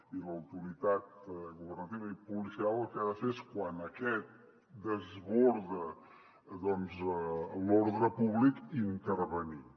i l’autoritat governativa i policial el que ha de fer és quan aquest desborda l’ordre públic intervenir hi